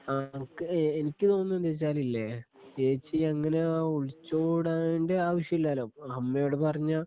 ആ എനിക്ക് തോന്നുന്നതു വെച്ചാല് എ ചേച്ചി അങ്ങനെ ഒളിച്ചോടണ്ടേ ആവശ്യമില്ലല്ലോ അമ്മയോട് പറഞ്ഞ